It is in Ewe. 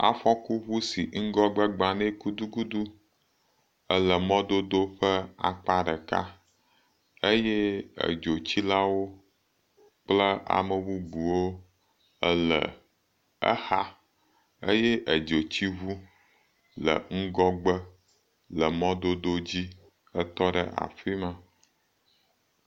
Afɔkuŋu si ŋgɔgbe gba nɛ gudugudu le mɔ ƒe akpa ɖeka eye edzitsilawo kple amebubuwo le exa eye edzotsiŋu le ŋgɔgbe le mɔdodo dzi le afi ma.